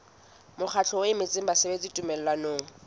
mokgatlo o emetseng basebeletsi tumellanong